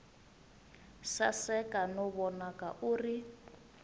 saseka no vonaka u ri